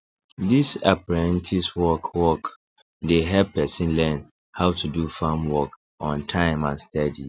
this apprentice work work dey help person learn how to do farm work on time and steady